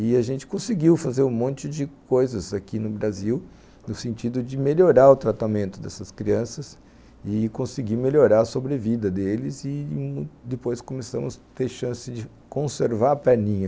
E a gente conseguiu fazer um monte de coisas aqui no Brasil, no sentido de melhorar o tratamento dessas crianças e conseguir melhorar a sobrevida deles, e depois começamos a ter chance de conservar a perninha.